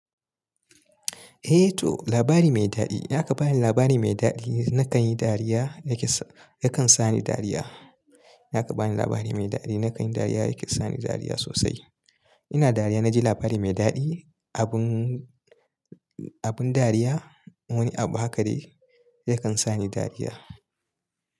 Eh to labari mai daɗi. Idan aka bani labari mai daɗi na kan yi dariya ya kan sani dariya. Yaka bani labari mai daɗi na kan yi dariya yake sani dariya sosai. Ina dariya na ji labari mai daɗi abun abun dariya. Wani abu haka dai ya kan sani dariya.